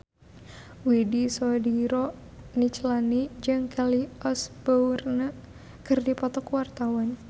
Widy Soediro Nichlany jeung Kelly Osbourne keur dipoto ku wartawan